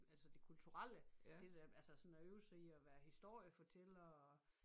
Altså det kulturelle det der altså sådan at øve sig i at være historiefortæller og